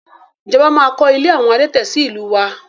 Ìjọba máa kọ ilé àwọn adẹ́tẹ̀ sì ìlú wa